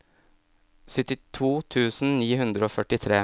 syttito tusen ni hundre og førtitre